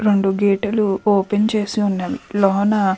రెండు గేట్ లు ఓపెన్ చేసి ఉన్నాయి లోన --